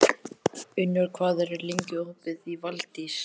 Unnur, hvað er lengi opið í Valdís?